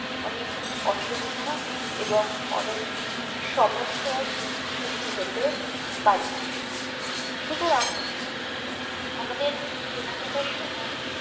অনেক অসুবিধা এবং অনেক সমস্যার সৃষ্টি হতে পারে সুতরাং আমাদের কেনাকাটার সময়